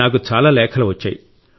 నాకు చాలా లేఖలు వచ్చాయి